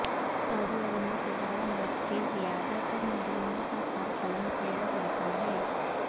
سعودی عرب میں سزائے موت کے زیادہ تر مجرموں کا سرقلم کیا جاتا ہے